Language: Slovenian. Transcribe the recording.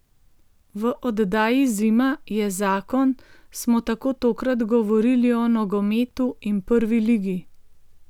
V oddaji Zima je zakon smo tako tokrat govorili o nogometu in Prvi ligi.